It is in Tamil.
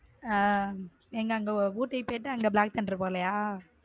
ஹம் எங்க அங்க ஊட்டிக்கு போயிட்ட black thunder போலயா.